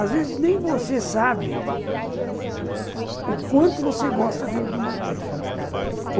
Às vezes, nem você sabe o quanto você gosta de de uma coisa.